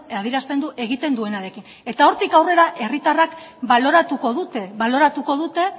adierazten du egiten duenarekin eta hortik aurrera herritarrek baloratuko dute baloratuko dute